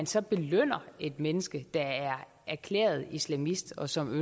så belønner et menneske der er erklæret islamist og som